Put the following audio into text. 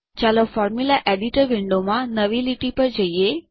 ચાલો formula editor વિન્ડોમાં નવી લીટી પર જઈએ